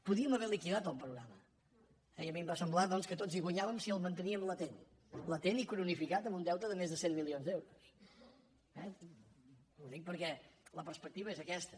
podíem haver liquidat el programa i a mi em va semblar doncs que tots hi guanyàvem si el mantení·em latent latent i cronificat amb un deute de més de cent milions d’euros eh ho dic perquè la perspecti·va és aquesta